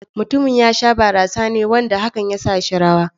Mutumin ya sha barasa ne wanda hakan ya sa shi rawa.